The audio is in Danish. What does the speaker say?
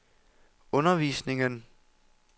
undervisningen